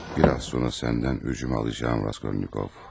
Biraz sonra səndən öcümü alacağam Raskolnikov.